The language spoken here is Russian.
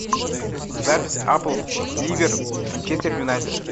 запись апл ливер манчестер юнайтед